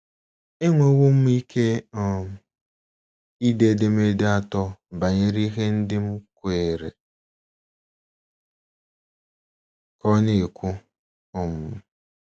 “ Enwewo m ike um ide edemede atọ banyere ihe ndị m kweere, ” ka ọ na - ekwu um.